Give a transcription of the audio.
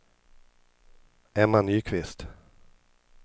Emma Nyqvist